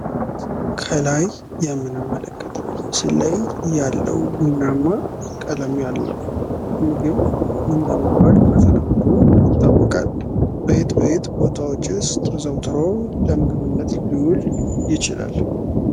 ከላይ የምንመለከተው ምስል ላይ ያለው ቡናማ ቀለም ያለው ምግብ ምን በመባል በተለምዶ ይታወቃል? በየት በየት ቦታዎችስ ከዘውትሮ ለምግብነት ልውል ይችላል?